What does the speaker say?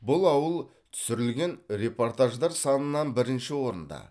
бұл ауыл түсірілген репортаждар санынан бірінші орында